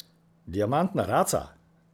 Diamantna raca?